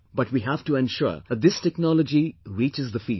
But we have to ensure that this technology reaches the fields